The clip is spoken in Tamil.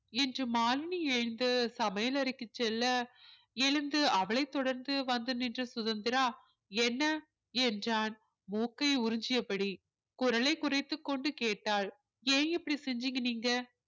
என்று மாலினி எழுந்து சமையலறைக்குச் செல்ல எழுந்து அவளைத் தொடர்ந்து வந்து நின்ற சுதந்திரா என்ன என்றான் மூக்கை உறிஞ்சியபடி குரலைக் குறைத்துக் கொண்டு கேட்டாள் ஏன் இப்படி செஞ்சீங்க நீங்க